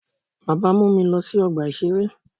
Baba mu mi lọ si ọgba iṣere.